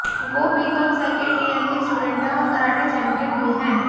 वो BCom second year की student है और कराटे चैम्पियन भी है